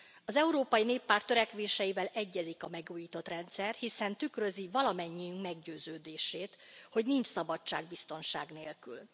Az Európai Néppárt törekvéseivel egyezik a megújított rendszer, hiszen tükrözi valamennyi meggyőződését, hogy nincs szabadság biztonság nélkül.